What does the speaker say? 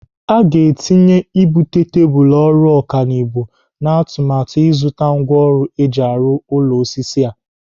Aga etinye ibute tebụl ọrụ ọkanibo n'atụmatụ ịzụta ngwaọrụ eji arụ ụlọ osisi a.